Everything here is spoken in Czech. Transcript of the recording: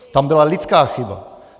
Tam byla lidská chyba.